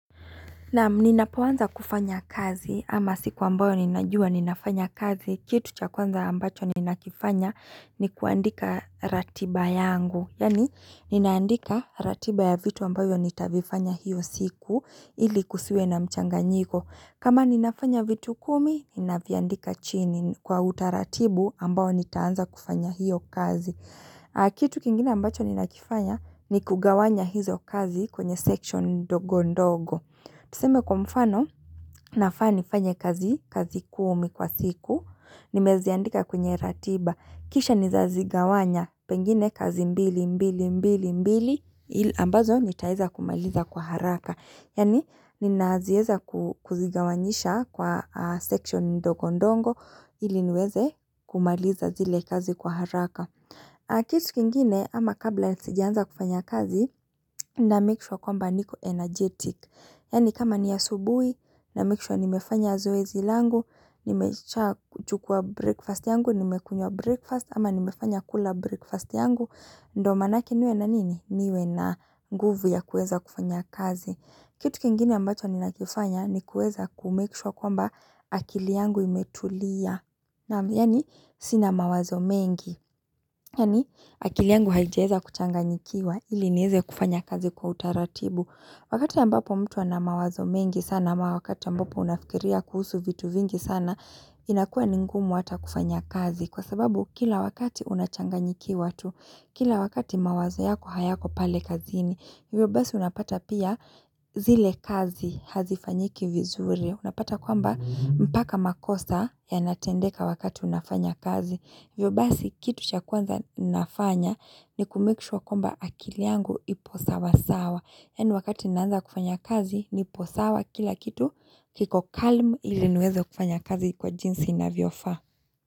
Naam ninapoanza kufanya kazi ama siku ambayo ninajua ninafanya kazi, kitu cha kwanza ambacho ninakifanya ni kuandika ratiba yangu. Yaani, ninaandika ratiba ya vitu ambavyo nitavifanya hiyo siku ili kusiwe na mchanganyiko. Kama ninafanya vitu kumi, ninaviandika chini kwa utaratibu ambao nitaanza kufanya hiyo kazi. Kitu kingine ambacho ninakifanya ni kugawanya hizo kazi kwenye section ndogondogo. Tuseme kwa mfano, nafaa nifanye kazi kumi kwa siku, nimeziandika kwenye ratiba, kisha nizazigawanya pengine kazi mbili, mbili, mbili, mbili, ambazo nitaeza kumaliza kwa haraka. Yaani, ninaazieza kuzigawanyisha kwa section ndogondongo, ili niweze kumaliza zile kazi kwa haraka. Kitu kingine ama kabla sijaanza kufanya kazi namake sure kwamba niko energetic. Yaani kama ni asubui namake sure nimefanya zoezi langu, nimechua chukua breakfast yangu, nimekunywa breakfast ama nimefanya kula breakfast yangu. Ndo maanake niwe na nini? Niwe na nguvu ya kueza kufanya kazi. Kitu kingine ambacho ninakifanya ni kueza kumake sure kwamba akili yangu imetulia. Na yani sina mawazo mengi, yani akili yangu haijaeza kuchanganyikiwa ili nieze kufanya kazi kwa utaratibu. Wakati ambapo mtu ana mawazo mengi sana, ama wakati ambapo unafikiria kuhusu vitu vingi sana, inakua ni ngumu hata kufanya kazi. Kwa sababu kila wakati unachanganyikiwa tu, kila wakati mawazo yako hayako pale kazini, hivyo basi unapata pia zile kazi hazifanyiki vizuri. Unapata kwamba mpaka makosa yanatendeka wakati unafanya kazi. Hivyo basi kitu cha kwanza ninafanya ni kumake sure kwamba akili yangu ipo sawa sawa. Yani wakati ninaanza kufanya kazi, nipo sawa kila kitu kiko calm iliniweze kufanya kazi kwa jinsi inavyofaa.